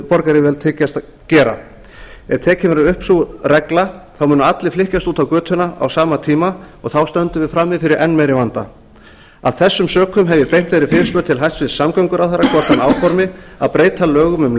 borgaryfirvöld hyggjast gera ef tekin verður upp sú regla munu allir flykkjast út á göturnar á sama tíma og þá stöndum við frammi fyrir enn meiri vanda af þessum sökum hef ég beint þeirri fyrirspurn til hæstvirts samgönguráðherra hvort hann áformi að breyta lögum um